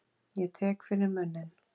Ég tek fyrir munninn.